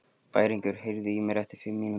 Bæringur, heyrðu í mér eftir fimmtíu mínútur.